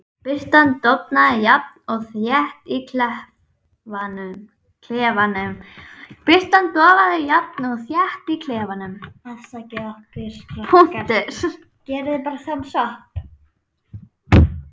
Birtan dofnaði jafnt og þétt í klefanum.